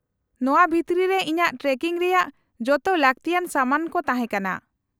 -ᱱᱚᱶᱟ ᱵᱷᱤᱛᱨᱤ ᱨᱮ ᱤᱧᱟᱹᱜ ᱴᱨᱮᱠᱤᱝ ᱨᱮᱭᱟᱜ ᱡᱚᱛᱚ ᱞᱟᱹᱠᱛᱤᱭᱟᱱ ᱥᱟᱢᱟᱱ ᱠᱚ ᱛᱟᱦᱮᱸ ᱠᱟᱱᱟ ᱾